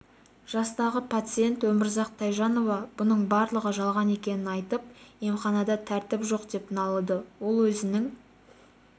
жастағы пациент өмірзақ тайжанова бұның барлығы жалған екенін айтып емханада тәртіп жоқ деп налыды ол өзінің